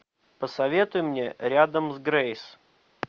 посоветуй мне рядом с грейс